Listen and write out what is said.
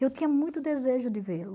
Eu tinha muito desejo de vê-lo.